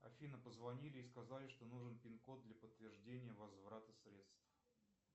афина позвонили и сказали что нужен пин код для подтверждения возврата средств